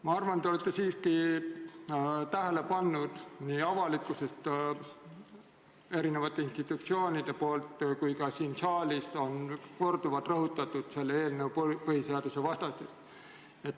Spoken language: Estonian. Ma arvan, et te olete siiski tähele pannud, et nii siin saalis, avalikkuses kui ka erinevate institutsioonide poolt on korduvalt rõhutatud selle eelnõu põhiseadusvastasust.